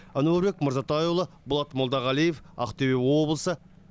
әнуарбек мырзатайұлы болат молдағалиев ақтөбе облысы